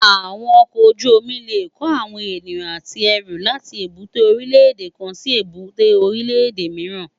Awòn òkòójùómì lé kó áwòn éniyàn àtí èrú làtí ébùté órilè édé kán si ébùté órilè édé mirán